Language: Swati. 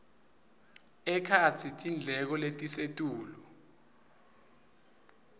ekhatsi tindleko letisetulu